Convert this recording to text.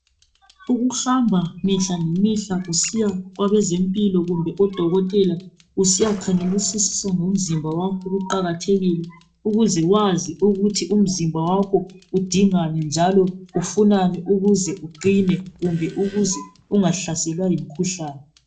Ukuhamba mihla ngemihla usiya kwabezempilo kumbe odokotela usiyakhangelisisa ngomzimba wakho kuqakathekile ukuze wazi ukuthi umzimba wakho udingani njalo ufunani ukuze uqine kumbe ukuze ungahlaselwa yimikhuhlane.